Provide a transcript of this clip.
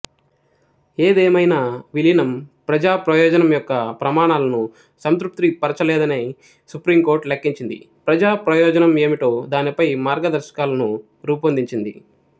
ఏదేమైనా విలీనం ప్రజా ప్రయోజనం యొక్క ప్రమాణాలను సంతృప్తిపరచలేదని సుప్రీంకోర్టు లెక్కించింది ప్రజా ప్రయోజనం ఏమిటో దానిపై మార్గదర్శకాలను రూపొందించింది